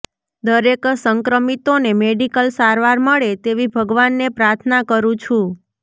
દરેક સંક્રમિતોને મેડિકલ સારવાર મળે તેવી ભગવાનને પ્રાર્થના કરું છું